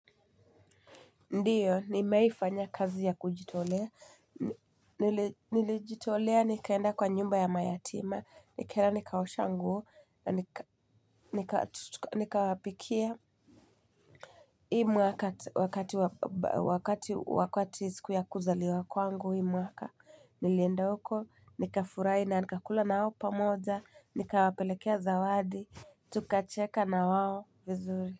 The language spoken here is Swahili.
Ndiyo, nimewai fanya kazi ya kujitolea, nilijitolea, nikaenda kwa nyumba ya mayatima, nikaenda nikaosha nguo, nika wapikia. Hii mwaka wakati wakati siku ya kuzaliwa kwangu hii mwaka, nilienda huko, nikafurahi na nikakula nao pamoja, nikawapelekea zawadi, tukacheka na wao vizuri.